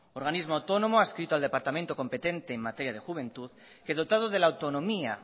organismo autónomo adscrito al departamento competente en materia de juventud que dotado de la autonomía